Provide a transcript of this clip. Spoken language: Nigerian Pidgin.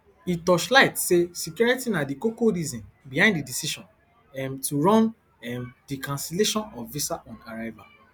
e torchight say security na di koko reason behind di decision um to run um di cancellation of visaonarrival